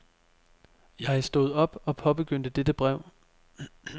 Jeg stod op og påbegyndte dette brev.